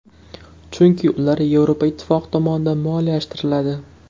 Chunki ular Yevropa ittifoqi tomonidan moliyalashtiriladi.